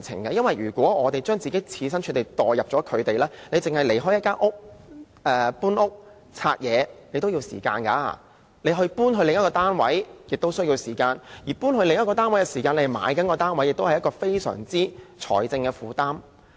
易地而處，試想在原來的單位收拾和清拆東西需要時間，搬往另一個單位亦需要時間，而同時購買一個新單位，是非常沉重的財政負擔。